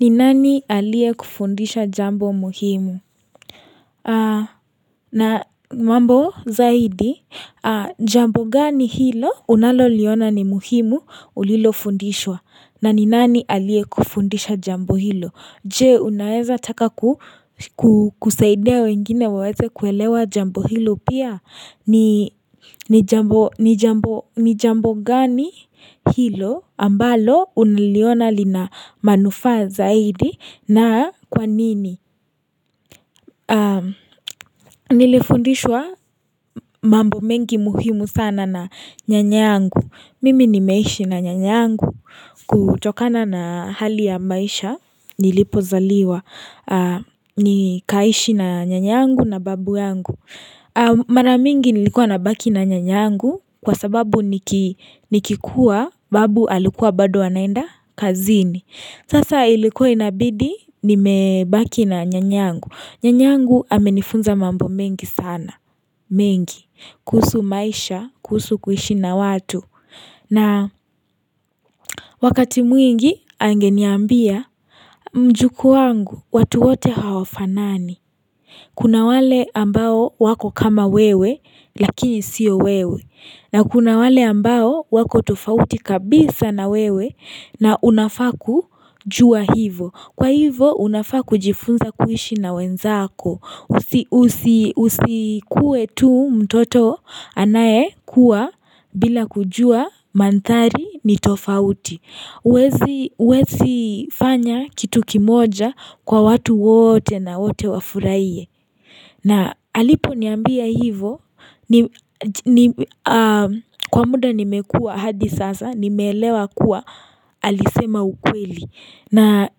Ni nani aliie kufundisha jambo muhimu? Na mambo zaidi, jambo gani hilo unalo liona ni muhimu ulilo fundishwa? Na ni nani alie kufundisha jambo hilo? Jee, unaaeza taka kusaidia wengine waweze kuelewa jambo hilo pia? Ni jambo gani hilo ambalo unaliona lina manufaa zaidi? Na kwa nini, nilifundishwa mambo mengi muhimu sana na nyanyangu Mimi nimeishi na nyanyangu kutokana na hali ya maisha nilipozaliwa Nikaishi na nyanyangu na babu yangu Maramingi nilikuwa na baki na nyanyangu kwa sababu nikikuwa babu alikuwa bado anaenda kazini Sasa ilikuwa inabidi ni mebaki na nyanyangu. Nyanyangu amenifunza mambo mengi sana. Mengi. Kuhusu maisha. Kuhusu kuishi na watu. Na wakati mwingi angeniambia mjukuu wangu watu wote hawafanani. Kuna wale ambao wako kama wewe lakini sio wewe. Na kuna wale ambao wako tofauti kabisa na wewe na unafaa kujua hivo. Kwa hivo unafaa ku jifunza kuishi na wenzako. Usikuwe tu mtoto anaye kuwa bila kujua mandhari ni tofauti. Uwezi uwezi fanya kitu kimoja kwa watu wote na wote wafurahie na alipo niambia hivo kwa muda nimekua hadi sasa nimeelewa kuwa alisema ukweli na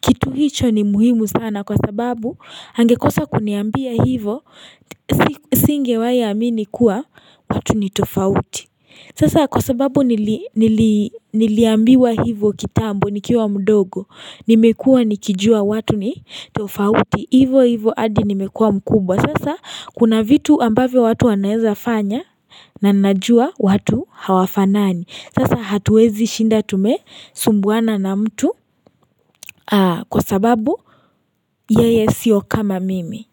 kitu hicho ni muhimu sana kwa sababu angekosa kuniambia hivo singewahi amini kuwa watu nitofauti sasa kwa sababu nili nili ambiwa hivyo kitambo nikiwa mdogo nimekua nikijua watu ni tofauti hivyo hivyo hadi nimekua mkubwa sasa kuna vitu ambavyo watu wanaeza fanya nananajua watu hawafa nani sasa hatuwezi shinda tume sumbuana na mtu aa kwa sababu yeye sio kama mimi.